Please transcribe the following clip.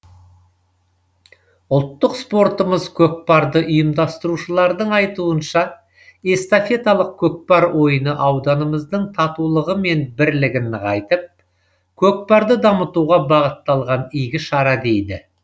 ұлттық спортымыз көкпарды ұйымдастырушылардың айтуынша эстафеталық көкпар ойыны ауданымыздың татулығымен бірлігін нығайтып көкпарды дамытуға бағытталған игі шара дейді